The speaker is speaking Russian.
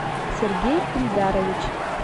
сергей ильдарович